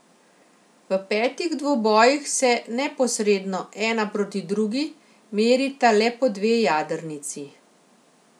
V napetih dvobojih se neposredno, ena proti drugi, merita le po dve jadrnici.